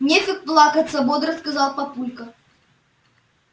нефиг плакаться бодро сказал папулька